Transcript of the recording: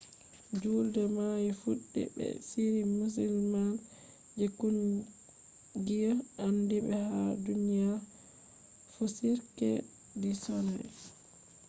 juulde mai fuddi be shiri musamman je kungiya andibe ha duniya fu cirque du soleil